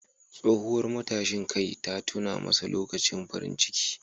Tsohuwar matashin kai ta tuna masa lokutan farin ciki.